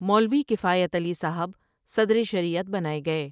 مولوی کفایت علی صاحب صدرِ شریعت بنائے گئے۔